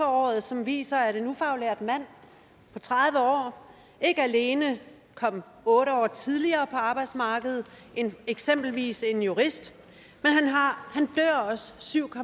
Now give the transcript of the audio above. året som viser at en ufaglært mand på tredive år ikke alene kommer otte år tidligere på arbejdsmarkedet end eksempelvis en jurist men han dør også syv